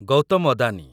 Gautam Adani